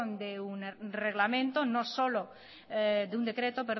de un reglamento no solo de un decreto